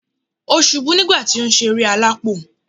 O subú nígbà ti o n sé eré alápò